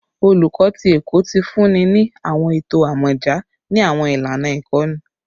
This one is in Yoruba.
Oluko ti Ẹkọ ti funni ni awọn eto amọja ni awọn ilana ikọni